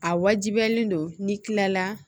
A wajibiyalen don n'i kilala